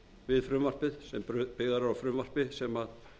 við frumvarpið sem byggðar eru á frumvarpi sem